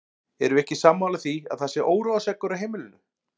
Erum við ekki sammála því að það sé óróaseggur á heimilinu!